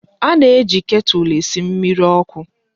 A na-eji ketụl esi mmiri ọkụ.